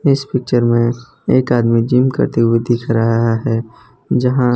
इस पिक्चर में एक आदमी जिम करते हुए दिख रहा है जहां --